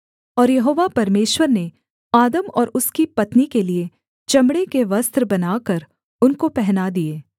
और यहोवा परमेश्वर ने आदम और उसकी पत्नी के लिये चमड़े के वस्त्र बनाकर उनको पहना दिए